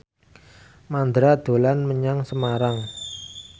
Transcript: Mandra dolan menyang Semarang